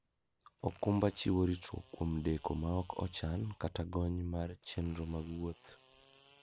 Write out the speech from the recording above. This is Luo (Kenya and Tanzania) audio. okumba chiwo ritruok kuom deko ma ok ochan kata gony mar chenro mag wuoth.